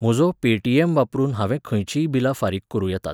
म्हजो पे.टी.एम. वापरून हांवें खंयचीय बिलां फारीक करूं येतात.